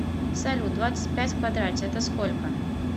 салют двадцать пять в квадрате это сколько